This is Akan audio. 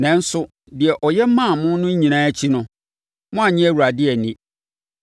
Nanso, deɛ ɔyɛ maa mo no nyinaa akyi no, moannye Awurade anni.